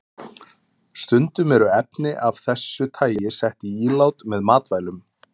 Stundum eru efni af þessu tagi sett í ílát með matvælum.